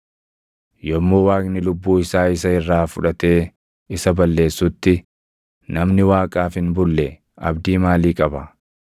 Yommuu Waaqni lubbuu isaa isa irraa fudhatee isa balleessutti, namni Waaqaaf hin bulle abdii maalii qaba?